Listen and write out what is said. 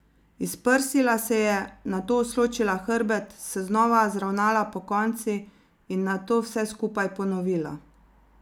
Izprsila se je, nato usločila hrbet, se zopet zravnala pokonci in nato vse skupaj ponovila.